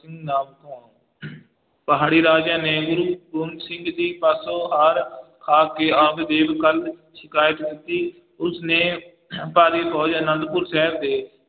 ਨਾਮ ਕਹਾਊਂ ਪਹਾੜੀ ਰਾਜਿਆਂ ਨੇ ਗੁਰੂ ਗੋਬਿੰਦ ਜੀ ਪਾਸੋਂ ਹਾਰ, ਹਾਰ ਕੇ ਆਪਦੀ ਸਿਕਾਇਤ ਕੀਤੀ, ਉਸਨੇ ਭਾਰੀ ਫ਼ੋਜ ਆਨੰਦਪੁਰ ਸਾਹਿਬ ਦੇ